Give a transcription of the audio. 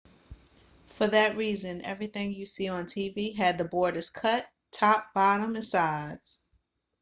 for that reason everything you see on the tv had the borders cut top bottom and sides